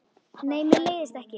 Nei, mér leiðist ekki.